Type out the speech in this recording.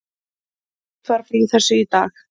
Greint var frá þessu í dag